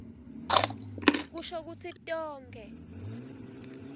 kusho kutsi tonkhe